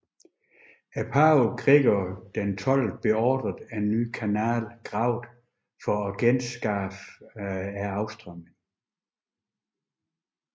Pave Gregor XII beordrede en ny kanal gravet for at genskabe afstrømningen